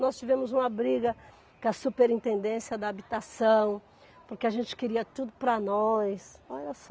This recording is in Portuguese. Nós tivemos uma briga com a superintendência da habitação, porque a gente queria tudo para nós.